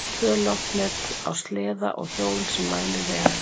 Tvö loftnet á sleða og hjól sem mælir vegalengd.